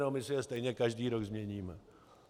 No, my si je stejně každý rok změníme.